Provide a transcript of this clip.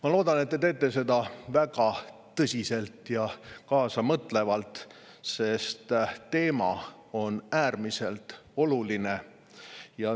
Ma loodan, et te teete seda väga tõsiselt ja kaasamõtlevalt, sest teema on äärmiselt oluline.